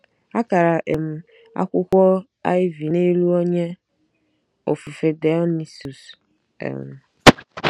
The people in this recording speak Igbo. Akara um akwukwo ivy n'elu onye ofufe Dionysus um. ”